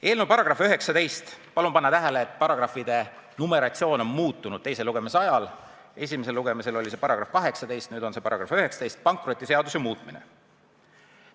Eelnõu § 19 – palun pange tähele, et paragrahvide numeratsioon on teise lugemise ajal muutunud, esimesel lugemisel oli see § 18, nüüd on see § 19 –, "Pankrotiseaduse muutmine".